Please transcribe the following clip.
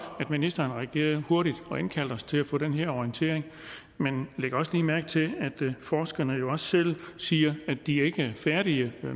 at ministeren reagerede hurtigt og indkaldte os til at få den her orientering men læg også lige mærke til at forskerne jo også selv siger at de ikke er færdige